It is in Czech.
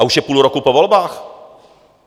A už je půl roku po volbách.